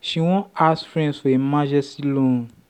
she wan ask friends for emergency loan.